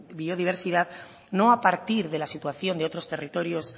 biodiversidad no a partir de la situación de otros territorios